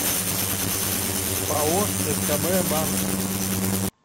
пао скб банк